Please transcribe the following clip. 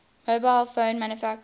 mobile phone manufacturers